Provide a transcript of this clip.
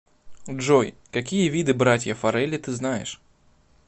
джой какие виды братья фаррелли ты знаешь